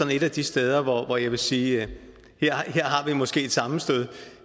et af de steder hvor jeg vil sige at her har vi måske et sammenstød